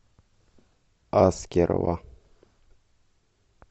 аскерова